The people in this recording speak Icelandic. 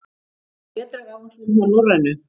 Vetraráætlun hjá Norrænu